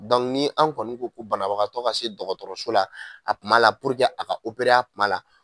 Dɔnku n'an kɔni ko ko banabagatɔ ka se dɔgɔtɔrɔso la a kuma la puruke a ka opere a kuma la